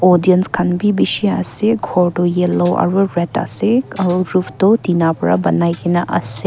audience kan bi bishi ase kor tho yellow aro red ase aro roof tho tina vra banai kina ase.